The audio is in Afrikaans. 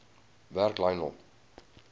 werk lionel